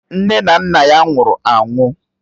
Nne na nna ya nwụrụ anwụ.